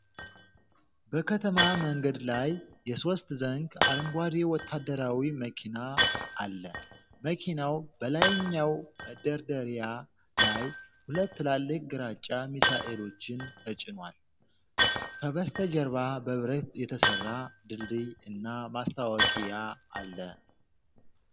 በከተማ መንገድ ላይ የሶስት ዘንግ አረንጓዴ ወታደራዊ መኪና አለ። መኪናው በላይኛው መደርደሪያ ላይ ሁለት ትላልቅ ግራጫ ሚሳኤሎችን ተጭኗል። ከበስተጀርባ በብረት የተሰራ ድልድይ እና ማስታወቂያ አለ።